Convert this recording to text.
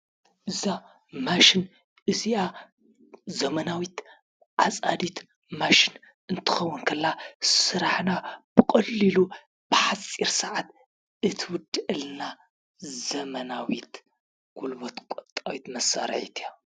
እዛ ማሽን እዚአ ዘመናዊት ዓፃዲት ማሽን እትከዉን ተላ ስራሕና ብቀሊሉ ብሓፂር ሰዓት እትዉድአልና ዘመናዊት ጉልበት ቆጣቢት መሳርሒት እያ።